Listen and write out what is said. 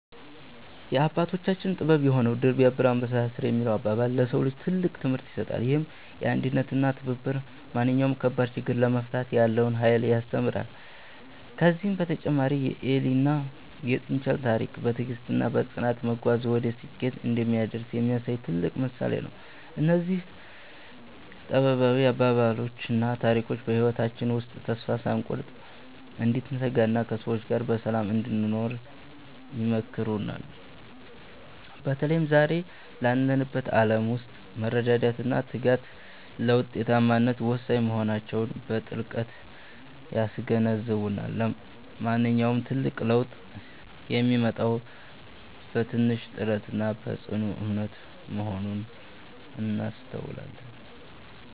የአባቶቻችን ጥበብ የሆነው "ድር ቢያብር አንበሳ ያስር" የሚለው አባባል፣ ለሰው ልጅ ትልቅ ትምህርት ይሰጣል። ይህም አንድነትና ትብብር ማንኛውንም ከባድ ችግር ለመፍታት ያለውን ኃይል ያስተምረናል። ከዚህም በተጨማሪ የኤሊና የጥንቸል ታሪክ፣ በትዕግስትና በጽናት መጓዝ ወደ ስኬት እንደሚያደርስ የሚያሳይ ትልቅ ምሳሌ ነው። እነዚህ ጥበባዊ አባባሎችና ታሪኮች በህይወታችን ውስጥ ተስፋ ሳንቆርጥ እንድንተጋና ከሰዎች ጋር በሰላም እንድንኖር ይመክሩናል። በተለይም ዛሬ ባለንበት ዓለም ውስጥ መረዳዳትና ትጋት ለውጤታማነት ወሳኝ መሆናቸውን በጥልቀት ያስገነዝቡናል። ማንኛውም ትልቅ ለውጥ የሚመጣው በትንሽ ጥረትና በጽኑ እምነት መሆኑን እናስተውላለን።